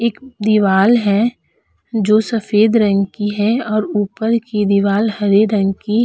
एक दीवाल है जो सफ़ेद रंग की है और ऊपर की दीवार हरे रंग की --